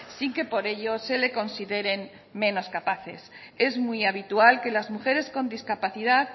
sin que por ello se le consideren menos capaces es muy habitual que las mujeres con discapacidad